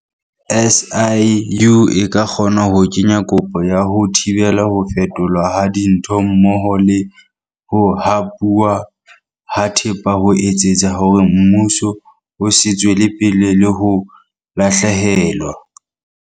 SIU e ka kgona ho kenya kopo ya ho thibela ho fetolwa ha dintho mmoho le ho hapuwa ha thepa ho etsetsa hore mmuso o se tswele pele le ho lahlehelwa.